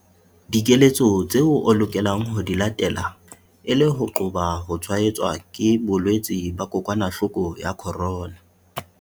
Dikeletso tseo o lokelang ho di latela e le ho qoba ho tshwaetswa ke bolwetse ba kokwanahloko ya corona.